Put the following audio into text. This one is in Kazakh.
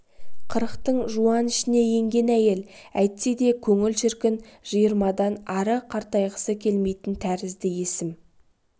қырықтың жуан ішіне енген әйел әйтсе де көңіл шіркін жиырмадан ары қартайғысы келмейтін тәрізді есім